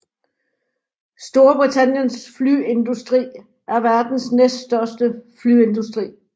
Storbritanniens flyindustri er verdens næststørste flyindustri